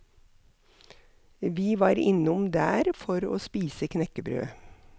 Vi var innom der for å spise knekkebrød.